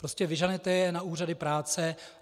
Prostě vyženete je na úřady práce.